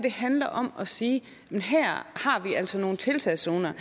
handler om at sige her har vi altså nogle tiltagszoner